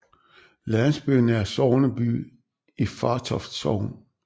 Landsbyen er sogneby i Fartoft Sogn